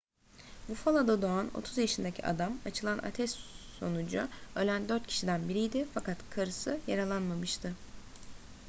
buffalo'da doğan 30 yaşındaki adam açılan ateş sonucu ölen dört kişiden biriydi fakat karısı yaralanmamıştı